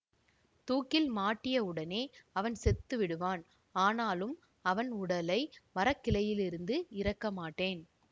தூக்கில் மாட்டியவுடனே அவன் செத்து விடுவான் ஆனாலும் அவன் உடலை மரக்கிளையிலிருந்து இறக்க மாட்டேன்